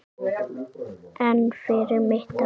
En fyrir mitt ár?